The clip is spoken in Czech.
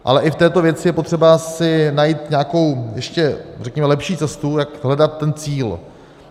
Ale i v této věci je potřeba si najít nějakou ještě řekněme lepší cestu, jak hledat ten cíl.